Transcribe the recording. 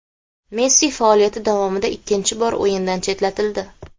Messi faoliyati davomida ikkinchi bor o‘yindan chetlatildi.